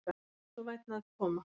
Vertu svo vænn að koma.